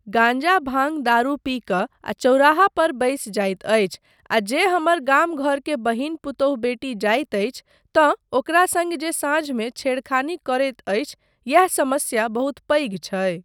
गांजा भांग, दारू पी कऽ आ चौराहा पर बैसि जाइत अछि आ जे हमर गाम घर के बहिन पुतौहु बेटी जाइत अछि तँ ओकरा सङ्ग जे साँझमे छेड़खानी करैत अछि, यैह समस्या बहुत पैघ छै।